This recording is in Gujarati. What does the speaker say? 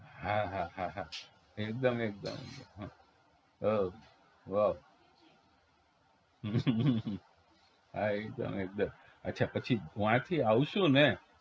હા હા હા હા એકદમ એકદમ તો હા એકદમ એકદમ અચ્છા પછી વાથી આવશું ને